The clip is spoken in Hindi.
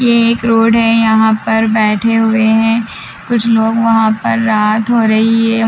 ये एक रोड है यहाँ पर बैठे हुए हैं कुछ लोग वहाँ पर रात हो रही है।